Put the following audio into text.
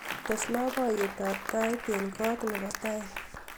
tes loboyet ab tait en koot nebo tai